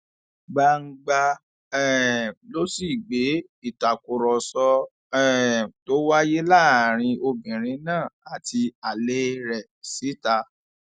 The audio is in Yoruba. gbangba um ló sì gbé ìtàkùrọsọ um tó wáyé láàrin obìnrin náà àti alẹ rẹ síta